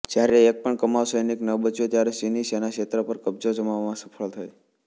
જ્યારે એકપણ કુમાઉં સૈનિક ન બચ્યો ત્યારે ચીની સેના ક્ષેત્ર પર કબ્જો જમાવવામાં સફળ થઈ